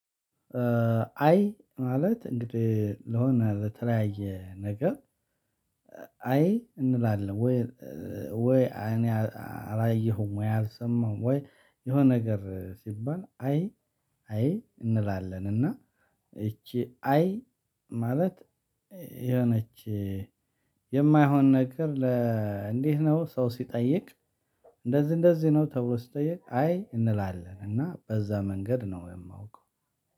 አይ ማለት እንግዲህ ለሆነ ለተለያየ ነገር አይ እንላለን። ወይ እኔ አላየሁም ወይ አልሰማሁም ወይ የሆነ ነገር ሲባል አይ አይ እንላለን። እና እቺ አይ ማለት የሆነች የማይሆን ነገር ለ እንዴት ነው? ሰው ሲጠይቅ እንደዚህ እንደዚህ ነው ተብሎ ሲጠየቅ አይ እንላለን። እና በዛ መንገድ ነው የማውቀው።